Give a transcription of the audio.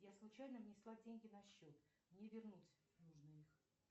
я случайно внесла деньги на счет мне вернуть нужно их